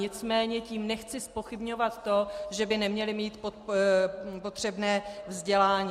Nicméně tím nechci zpochybňovat to, že by neměli mít potřebné vzdělání.